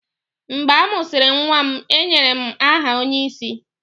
Mgbe a mụsịrị nwa m, e nyere m aha onyeisi.